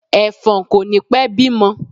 Ẹ̀fọ̀n kò ní pẹ́ bímọ.